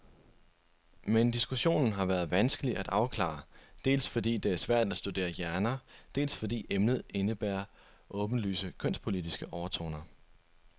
Men diskussionen har været vanskelig at afklare, dels fordi det er svært at studere hjerner, dels fordi emnet indebærer åbenlyse kønspolitiske overtoner.